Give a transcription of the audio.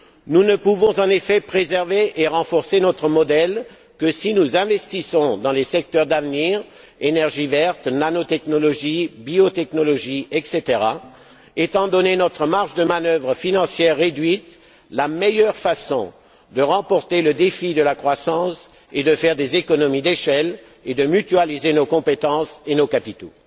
Nous ne pouvons, en effet, préserver et renforcer notre modèle que si nous investissons dans les secteurs d'avenir énergie verte, nanotechnologies, biotechnologies, etc. Étant donné notre marge de manœuvre financière réduite, la meilleure façon de remporter le défi de la croissance et de faire des économies d'échelle est de mutualiser nos compétences et nos capitaux.